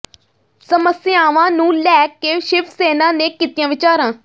ਸਮੱਸਿਆਵਾਂ ਨੂੰ ਲੈ ਕੇ ਸ਼ਿਵ ਸੈਨਾ ਨੇ ਕੀਤੀਆਂ ਵਿਚਾਰਾਂ